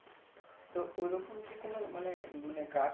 তো ওই রকম কি কোনো মানে মানে গাছ